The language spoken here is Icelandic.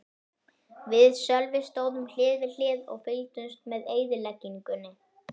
Við Sölvi stóðum hlið við hlið og fylgdumst með eyðileggingunni.